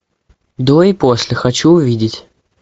до и после хочу увидеть